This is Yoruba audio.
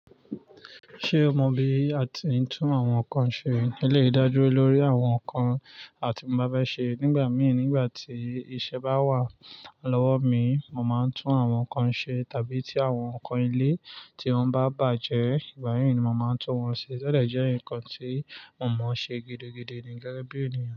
Ṣé o mọ bí a ti ń tún àwọn nǹkan ṣe? Eleyi dájú lórí àwọn nǹkan àti tí mo bá fẹ́ ṣe nígbà mìíràn nígbà tí iṣẹ́ bá wà lọ́wọ́ mi, mo máa ń tún àwọn nǹkan ṣe tàbí tí àwọn nǹkan ile ti wọ́n bá bàjẹ́, ìgbà mìí ni mo máa ń tún wọn ṣe. To de jẹ́ ǹkan tí mo mọ ṣe gidigidi ni gẹ́gẹ́ bí ènìyàn.